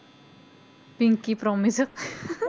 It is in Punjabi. pinky promise